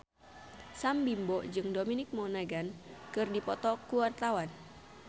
Sam Bimbo jeung Dominic Monaghan keur dipoto ku wartawan